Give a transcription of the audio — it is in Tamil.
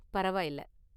பரவாயில்ல!